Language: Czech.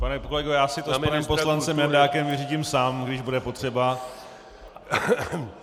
Pane kolego, já si to s panem poslancem Jandákem vyřídím sám, když bude potřeba.